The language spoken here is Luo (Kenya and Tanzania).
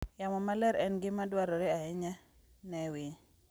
Yamo maler en gima dwarore ahinya ne winy.